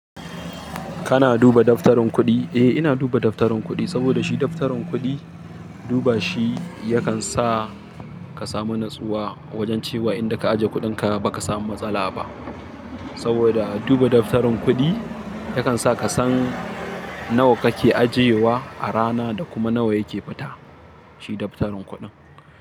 Kana duba daftarin kuɗi? Eh, ina duba daftaron kuɗi saboda shi daftaron kuɗi duba shi yakan sa ka samu natsuwa, wojen cewa inda ka ajiye kuɗin ka baka samu matsala ba. Saboda duba daftarin kuɗi yakan sa ka san nawa kake ajiyewa a rana da kuma nawa yake fita. Shi daftarin kuɗin.